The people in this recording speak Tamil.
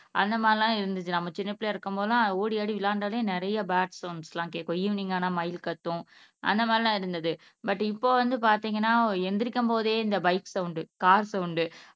அந்த மாதிரி எல்லாம் இருந்துச்சு நம்ம சின்னப்பிள்ளையா இருக்கும் போதெல்லாம் ஓடி ஆடி விளையாண்டாலே நிறைய பேர்ட்ஸ் சவுண்ட்ஸ் எல்லாம் கேக்கும் ஈவினிங் ஆனா மயில் கத்தும் அந்த மாதிரி எல்லாம் இருந்தது பட் இப்ப வந்து பாத்தீங்கன்னா எந்திரிக்கும் போதே இந்த பைக் சவுண்ட் கார் சவுண்ட்